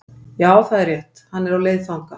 Já, það er rétt, hann er á leið þangað